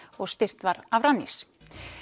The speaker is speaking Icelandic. og styrkt var af Rannís